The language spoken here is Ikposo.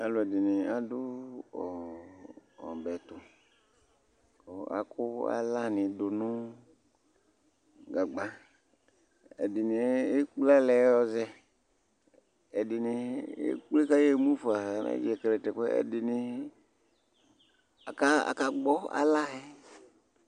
alò ɛdini adu ɔbɛ to kò akò ala ni do no gagba ɛdini ekple ala yɛ yɔ zɛ ɛdini ekple ka y'emu fa ɛdini aka gbɔ ala yɛ